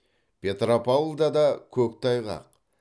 петропавлда да көктайғақ